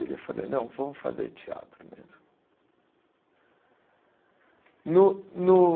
Eu falei, não, vamos fazer teatro mesmo. No no